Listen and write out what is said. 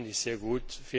EU. Das finde ich sehr